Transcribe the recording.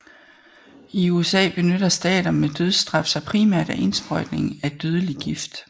I USA benytter stater med dødsstraf sig primært af indsprøjtning af dødelig gift